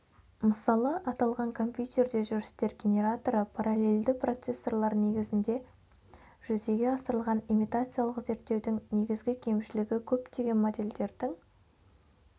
мысалы аталған компьютерде жүрістер генераторы паралелльді процессорлар негізінде жүзеге асырылған имитациялық зерттеудің негізгі кемшілігі көптеген модельдердің